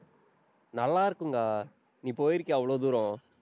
நல்லா இருக்குங்கா. நீ போயிருக்கியா அவ்வளவு தூரம்.